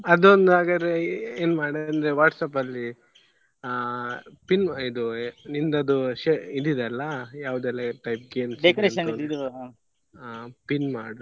ಅದೊಂದು ಹಾಗಾದ್ರೆ ಏನ್ ಮಾಡು ಅಂದ್ರೆ WhatsApp ಅಲ್ಲಿ ಆ ping ಇದು ನಿಂದ್ ಅದು ಶೇ ಇದ್ ಇದೆ ಅಲ್ಲ ಯಾವ್ದೆಲ್ಲ ಆ ping ಮಾಡು.